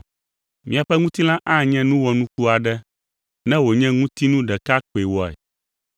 Míaƒe ŋutilã anye nu wɔnuku aɖe ne wònye ŋutinu ɖeka koe wɔe!